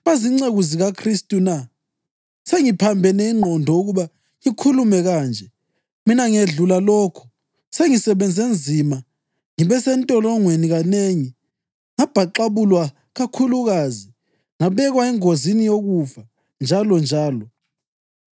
Bazinceku zikaKhristu na? (Sengiphambene ingqondo ukuba ngikhulume kanje.) Mina ngedlula lokho. Sengisebenze nzima, ngibe sentolongweni kanengi, ngabhaxabulwa kakhulukazi, ngabekwa engozini yokufa njalonjalo.